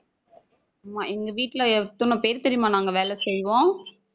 ஆமா, எங்க வீட்டுல எத்தனை பேர் தெரியுமா நாங்க வேலை செய்வோம்.